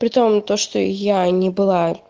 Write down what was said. при том то что я не была